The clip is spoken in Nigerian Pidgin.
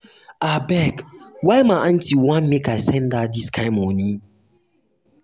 abeg why my aunty want make i send her dis kain moni?